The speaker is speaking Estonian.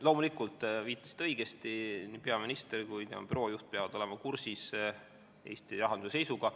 Loomulikult, te viitasite õigesti, nii peaminister kui ka tema büroo juht peavad olema kursis Eesti rahanduse seisuga.